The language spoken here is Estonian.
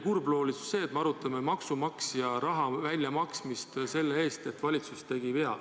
Kurbloolisus on see, et me arutame maksumaksja raha väljamaksmist seetõttu, et valitsus tegi vea.